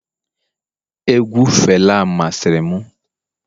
egwu fela masịrị m